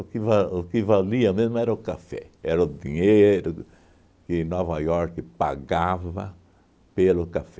que va o que valia mesmo era o café, era o dinheiro que Nova York pagava pelo café.